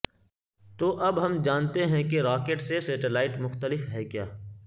تو اب ہم جانتے ہیں کہ راکٹ سے سیٹلائٹ مختلف ہے کیا